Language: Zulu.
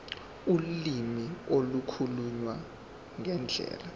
ulimi ukukhuluma ngendlela